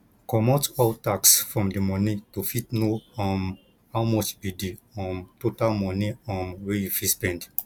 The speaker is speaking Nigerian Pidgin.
comot all tax from di moni to fit know um how much be di um total money um wey you fit spend